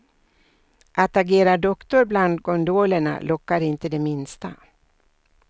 Att agera doktor bland gondolerna lockar inte det minsta.